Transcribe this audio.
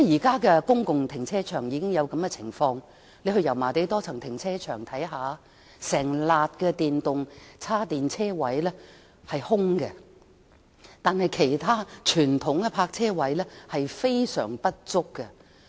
現時公共停車場已出現一種情況，大家可到油麻地多層停車場看看，便會發現一整排的電動車充電車位是空置的，但其他傳統泊車位卻供不應求。